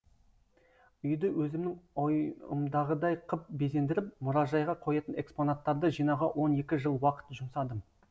үйді өзімнің ойымдағыдай қып безендіріп мұражайға қоятын экспонаттарды жинауға он екі жыл уақыт жұмсадым